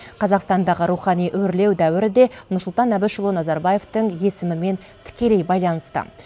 қазақстандағы рухани өрлеу дәуірі де нұрсұлтан әбішұлы назарбаевтың есімімен тікелей байланысты